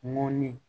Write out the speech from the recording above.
Mɔnni